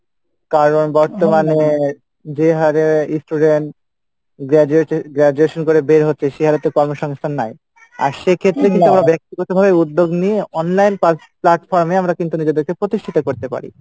কারণ বর্তমানে যে হারে student graduated graduation করে বের হচ্ছে সেই হারে তো কর্ম সমস্থান নাই, আর সেক্ষেত্রে কিন্তু ব্যক্তিগতভাবে উদ্যোগ নিয়ে online plat~ platform এ আমারা কিন্তু নিজেদেরকে প্রতিষ্ঠিত করতে পারি,